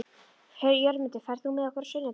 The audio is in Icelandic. Jörmundur, ferð þú með okkur á sunnudaginn?